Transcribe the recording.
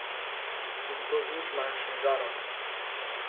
In to z nič manjšim žarom.